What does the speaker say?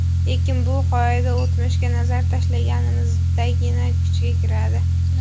Lekin bu qoida o‘tmishga nazar tashlaganimizdagina kuchga kiradi.